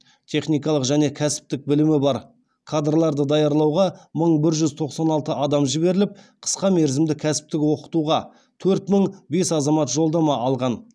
техникалық және кәсіптік білімі бар қадрларды даярлауға мың бір жүз тоқсан алты адам жіберіліп қысқа мерзімді кәсіптік оқытуға төрт мың бес азамат жолдама алған